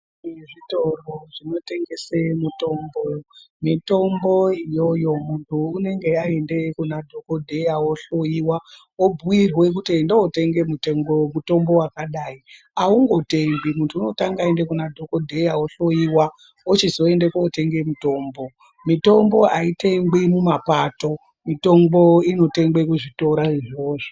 Kune zvitoro zvinotengese mitombo, mitombo iyoyo munthu unenge aenda kuna dhokodheya ohloyiwa obhuirwa kuti enda undotenga mutombo wakadai aungotengwi munthu unotanga aenda kuna dhokodheya ohloyiwa ochizoenda kootenga mutombo, mitombo aitengwi mumapato, mitombo inotengwa muzvitoro izvozvo.